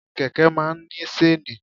Kẹ̀kẹ́ máa ń ní ṣéènì.